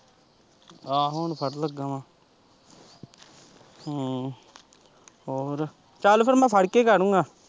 ਆਹੋ ਹੁਣ ਫੜਨ ਲੱਗਾ ਮੈਂ ਹਮ ਹੋਰ ਚੱਲ ਫਿਰ ਮੈਂ ਫੜ ਕੇ ਕਰੂੰਗਾ।